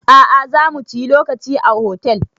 A'a zamu ciyi lokaci a hotel